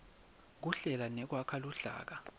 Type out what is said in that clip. kuhlela nekwakha luhlaka